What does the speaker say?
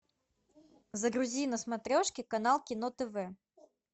загрузи на смотрешке канал кино тв